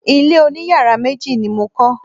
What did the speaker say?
Ilé oniyàrá méjì ni mo kọ́.